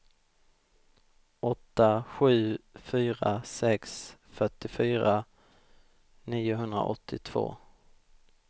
åtta sju fyra sex fyrtiofyra niohundraåttiotvå